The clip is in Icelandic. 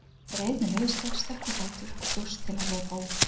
Ég reif mig lausa, stökk á fætur og bjóst til að hlaupa út.